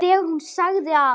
En þegar hún sagði að